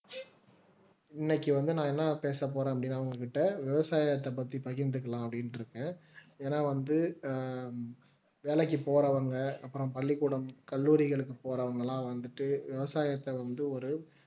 இன்னைக்கு வந்து நான் என்ன பேசப்போறேன் அப்படின்னா உங்ககிட்ட விவசாயத்தைப் பற்றி பகிர்ந்துக்கலாம் அப்படின்னு இருக்கேன் ஏன்னா வந்து வேலைக்கு போறவங்க அப்புறம் பள்ளிக்கூடம் கல்லூரிகளுக்கு போறவங்க எல்லாம் வந்துட்டு விவசாயத்தை வந்து ஒரு